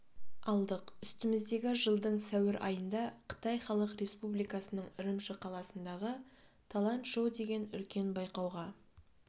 алдық үстіміздегі жылдың сәуір айында қытай халық республикасының үрімші қаласындағы талант шоу деген үлкен байқауға